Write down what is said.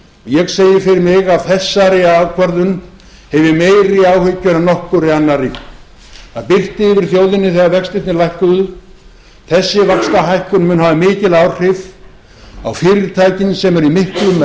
ég segi fyrir mig af þessari ákvörðun hef ég meiri áhyggjur en nokkurri annarri það birti yfir þjóðinni þegar vextina lækkuðu þessi vaxtahækkun mun hafa mikil áhrif á fyrirtækin sem eru í miklum